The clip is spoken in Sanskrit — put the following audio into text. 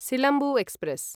सिलम्बु एक्स्प्रेस्